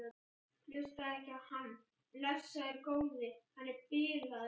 Hlustaðu ekki á hann, blessaður góði. hann er bilaður!